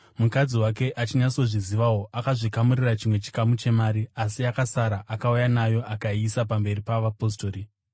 Mukadzi wake achinyatsozvizivawo, akazvikamurira chimwe chikamu chemari, asi yakasara akauya nayo akaiisa pamberi pavapostori.